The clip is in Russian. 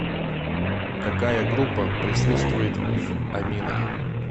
какая группа присутствует в аминах